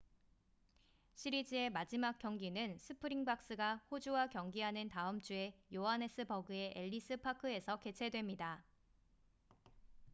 시리즈의 마지막 경기는 스프링박스가 호주와 경기하는 다음 주에 요하네스버그의 엘리스 파크에서 개최됩니다